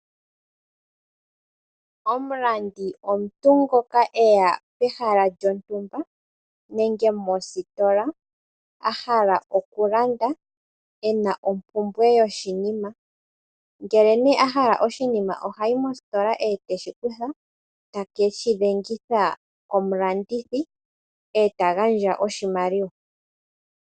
Omulandi omuntu ngoka eya pehala lyontumba , nenge mositola ahala okulanda , ena ompumbwe yoshinima ngele nee ahala oshinima ohayi mositola ete shikutha , tekeshi dhengitha komulandithi eta gandja oshimaliwa.